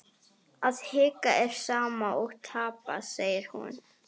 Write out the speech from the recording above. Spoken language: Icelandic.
Að hika er sama og tapa, segir hún.